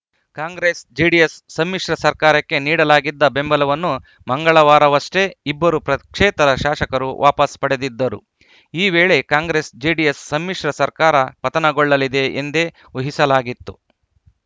ಕಾಂಗ್ರೆಸ್‌ಜೆಡಿಎಸ್‌ ಸಮ್ಮಿಶ್ರ ಸರ್ಕಾರಕ್ಕೆ ನೀಡಲಾಗಿದ್ದ ಬೆಂಬಲವನ್ನು ಮಂಗಳವಾರವಷ್ಟೇ ಇಬ್ಬರು ಪಕ್ಷೇತರ ಶಾಸಕರು ವಾಪಸ್‌ ಪಡೆದಿದ್ದರು ಈ ವೇಳೆ ಕಾಂಗ್ರೆಸ್‌ಜೆಡಿಎಸ್‌ ಸಮ್ಮಿಶ್ರ ಸರ್ಕಾರ ಪತನಗೊಳ್ಳಲಿದೆ ಎಂದೇ ಊಹಿಸಲಾಗಿತ್ತು